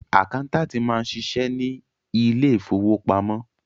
Àkáńtáàtì máa ń ṣiṣẹ́ ní ilé ìfowópamọ́.